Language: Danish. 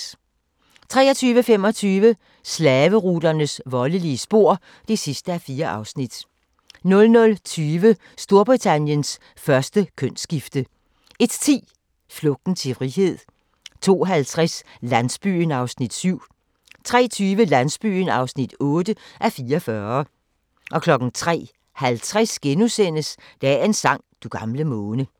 23:25: Slaveruternes voldelige spor (4:4) 00:20: Storbritanniens første kønsskifte 01:10: Flugten til frihed 02:50: Landsbyen (7:44) 03:20: Landsbyen (8:44) 03:50: Dagens sang: Du gamle måne *